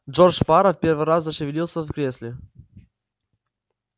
джордж фара в первый раз зашевелился в кресле